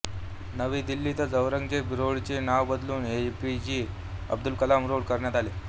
नवी दिल्लीतील औरंगजेब रोडचे नाव बदलून एपीजे अब्दुल कलाम रोड करण्यात आले